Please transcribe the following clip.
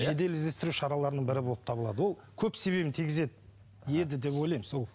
жедел іздестіру шараларының бірі болып табылады ол көп себебін тигізеді еді деп ойлаймын сол